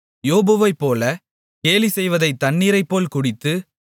யோபைப் போலவே கேலிசெய்வதை தண்ணீரைப்போல் குடித்து